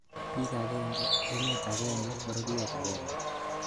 Bik agenge, emet agenge, pororiet agenge